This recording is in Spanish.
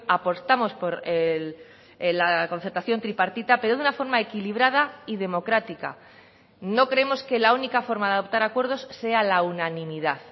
apostamos por la concertación tripartita pero de una forma equilibrada y democrática no creemos que la única forma de adoptar acuerdos sea la unanimidad